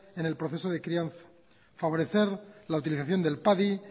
en el proceso de crianza favorecer la utilización del padi